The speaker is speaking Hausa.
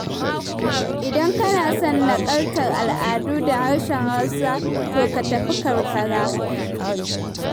Idan kana son naƙaltar al'adu da harshen Hausa to ka tafi karkara.